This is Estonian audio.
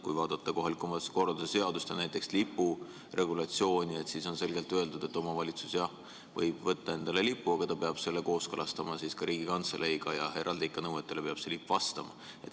Kui vaadata kohaliku omavalitsuse korralduse seadust ja näiteks lipuregulatsiooni, siis on selgelt öeldud, et omavalitsus võib võtta endale lipu, aga ta peab selle kooskõlastama Riigikantseleiga ja eraldi nõuetele peab see lipp ikka ka vastama.